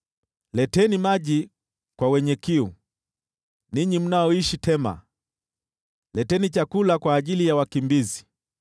leteni maji kwa wenye kiu, ninyi mnaoishi Tema, leteni chakula kwa ajili ya wakimbizi.